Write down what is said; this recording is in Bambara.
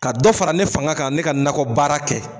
Ka dɔ fara ne fanga kan ne ka nakɔ baara kɛ.